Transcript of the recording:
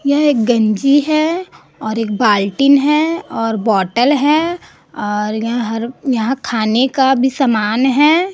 यह एक गंजी है और एक बाल्टीन है और बोतल है और यह हर यहाँ खाने का भी समान है।